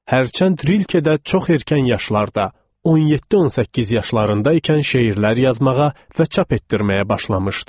Hərçənd Rilkedə çox erkən yaşlarda, 17-18 yaşlarında ikən şeirlər yazmağa və çap etdirməyə başlamışdı.